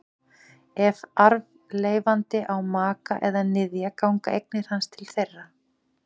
Ef arfleifandi á maka eða niðja ganga eignir hans til þeirra.